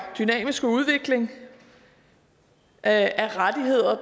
dynamiske udvikling af rettigheder